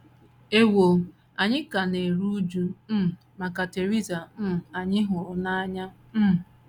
Ewo, anyị ka na - eru újú um maka Theresa um anyị hụrụ n’anya um.